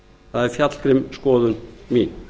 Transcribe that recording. það er fjallgrimm skoðun mín